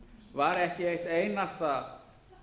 var ekki eitt einasta